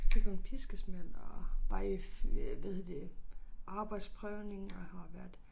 Fik hun piskesmæld og var i øh hvad hedder det arbejdsprøvning og har været